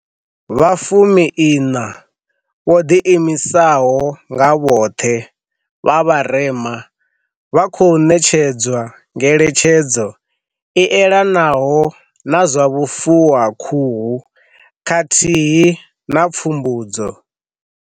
Vha fumiiṋa vho ḓiimisaho nga vhoṱhe vha vharema vha khou ṋetshedzwa ngeletshedzo i elanaho na zwa vhufu wa khuhu khathihi na pfumbudzo.